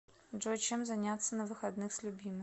джой чем заняться на выходных с любимым